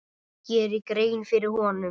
geri grein fyrir honum?